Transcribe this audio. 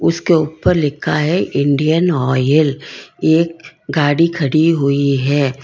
उसके ऊपर लिखा है इंडियन ऑयल एक गाड़ी खड़ी हुई है।